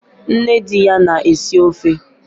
Nne di ya na-esi ofe